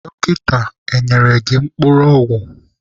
Dọkịta ọ nyere gị mkpụrụ ọgwụ?